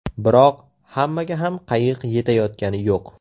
Biroq hammaga ham qayiq yetayotgani yo‘q.